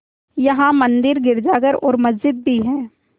यहाँ मंदिर गिरजाघर और मस्जिद भी हैं